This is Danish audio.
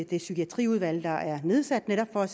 det psykiatriudvalg der er nedsat netop for at